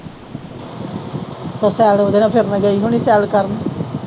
ਤੇਰੇ ਨਾਲ ਗਈ ਹੋਣੀ ਸੈਰ ਕਰਨ।